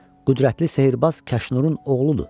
Qüdrətli sehrbaz Kaşnurun oğludur.